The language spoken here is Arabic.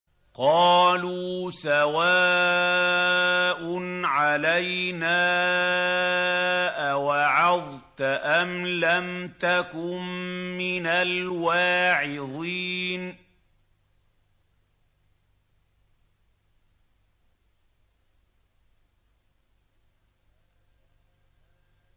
قَالُوا سَوَاءٌ عَلَيْنَا أَوَعَظْتَ أَمْ لَمْ تَكُن مِّنَ الْوَاعِظِينَ